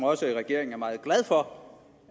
også regeringen er meget glad for